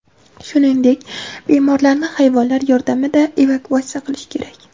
shuningdek bemorlarni hayvonlar yordamida evakuatsiya qilishi kerak.